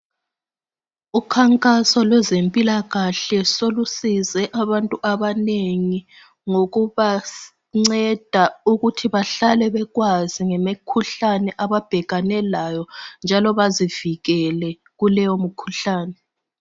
Ukhankaso lwezempilakahle solusize abantu abanengi ngokubanceda ukuthi bahlale bekwazi ngemikhuhlane ababhekane layo njalo bazivikele kuleyo mkhuhlane.